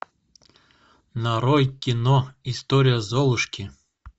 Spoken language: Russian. нарой кино история золушки